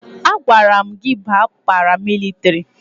A gwara m gị baa paramilitiri!